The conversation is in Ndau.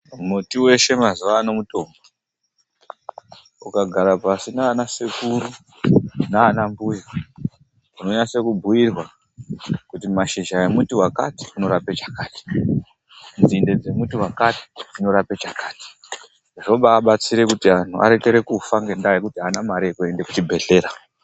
Muti weshe mazuwa ano mutombo. Ukagara pashi naanasekuru naanambuya unonase kubhuirwa kuti mashizha emuti wakati anorape chakati, nzinde dzemuti wakati dzinorape chakati. Zvobaabatsire kuti anhu arekere kufa ngendaa yekuti aana mare yekuende kuchibhedhlera.